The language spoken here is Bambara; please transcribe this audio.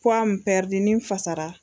Puwa min pɛridi n'i n fasara